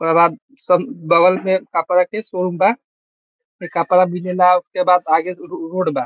ओकर बाद सब बगल मे कपड़ा के शोरूम बा कपड़ा मिलेला ओय के बाद आगे रोड बा।